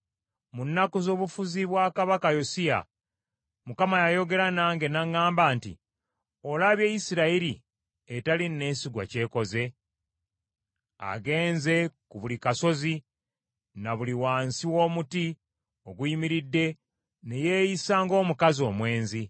Mu nnaku z’obufuzi bwa kabaka Yosiya Mukama yayogera nange n’aŋŋamba nti, “Olabye Isirayiri etali neesigwa ky’ekoze? Agenze ku buli kasozi na buli wansi w’omuti oguyimiridde ne yeeyisa ng’omukazi omwenzi.